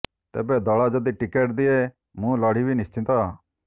ତେବେ ଦଳ ଯଦି ଟିକେଟ ଦିଏ ମୁଁ ଲଢ଼ିବି ନିଶ୍ଚିତ